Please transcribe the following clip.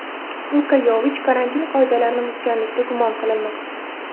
Luka Yovich karantin qoidalarini buzganlikda gumon qilinmoqda.